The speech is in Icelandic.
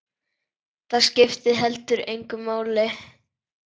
Það skipti heldur engu máli.